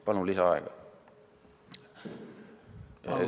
Palun lisaaega!